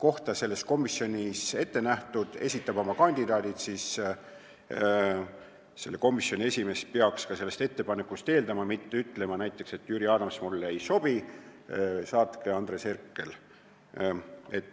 kohta teatud komisjonis ette nähtud, ja esitab oma kandidaadid, siis komisjoni esimees peaks ka sellest ettepanekust lähtuma, mitte ütlema näiteks, et Jüri Adams mulle ei sobi, saatke Andres Herkel.